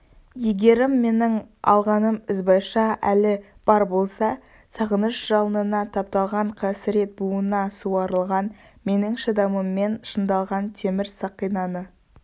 егерім менің алғаным ізбайша әлі бар болса сағыныш жалынына тапталған қасірет буына суарылған менің шыдамыммен шыңдалған темір сақинаны